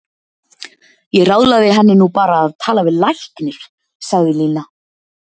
Ég ráðlagði henni nú bara að tala við læknir, sagði Lína.